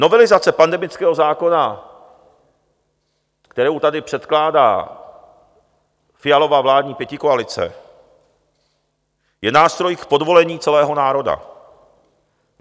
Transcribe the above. Novelizace pandemického zákona, kterou tady předkládá Fialova vládní pětikoalice, je nástroj k podvolení celého národa.